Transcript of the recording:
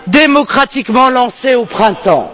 démocratiquement lancé au printemps.